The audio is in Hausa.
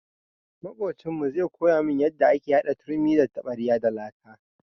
Maƙocinmu zai koya mun yanda ake hada turmi da taɓarya da laka.